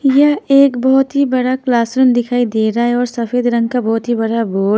यह एक बहुत ही बड़ा क्लासरूम दिखाई दे रहा है और सफेद रंग का बहुत ही बड़ा बोर्ड --